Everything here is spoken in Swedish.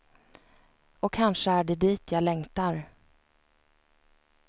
Och kanske är det dit jag längtar.